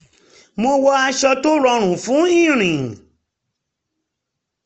mo wọ aṣọ tó rọrùn fún ìrìn